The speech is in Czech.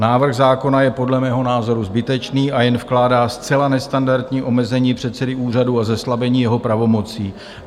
Návrh zákona je podle mého názoru zbytečný a jen vkládá zcela nestandardní omezení předsedy úřadu a zeslabení jeho pravomocí.